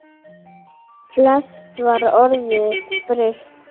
Flest var orðið breytt.